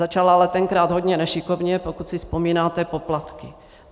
Začal ale tenkrát hodně nešikovně, pokud si vzpomínáte, poplatky.